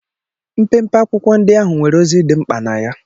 Mpempe akwụkwọ ndị ahụ nwere ozi dị mkpa na ya.